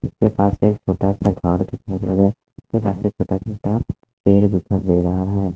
पेड़ दिखाई दे रहा है।